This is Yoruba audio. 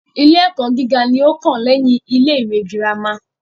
Ilé ẹ́kọ́ gíga ní o kàn lẹ́yin ilé ìwé gírámà.